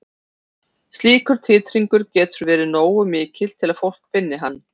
Slíkur titringur getur verið nógu mikill til að fólk finni hann.